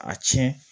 A tiɲɛ